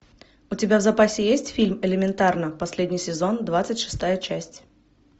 у тебя в запасе есть фильм элементарно последний сезон двадцать шестая часть